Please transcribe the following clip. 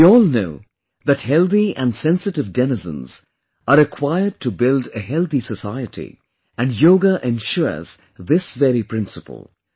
We all know that healthy and sensitive denizens are required to build a healthy society and Yoga ensures this very principle